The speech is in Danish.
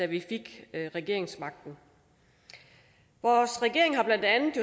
vi fik regeringsmagten vores regering har blandt andet